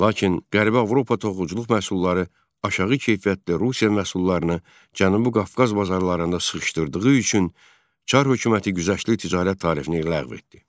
Lakin Qərbi Avropa toxuculuq məhsulları aşağı keyfiyyətli Rusiya məhsullarını Cənubi Qafqaz bazarlarında sıxışdırdığı üçün Çar hökuməti güzəştli ticarət tarifini ləğv etdi.